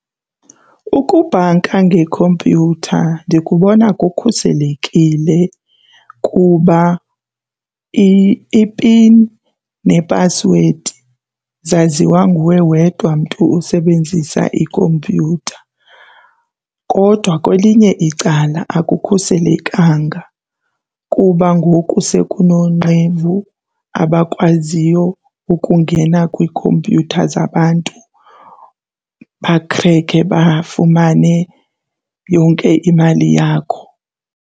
Ukubhanka ngekhompyutha ndikubona kukhuselekile kuba ipini nephasiwedi zaziwa nguwe wedwa mntu usebenzisa ikhompyutha. Kodwa kwelinye icala akukhuselekanga kuba ngoku sekunoonqevu abakwaziyo ukungena kwikhompyutha zabantu bakhrekhe bafumane yonke imali yakho.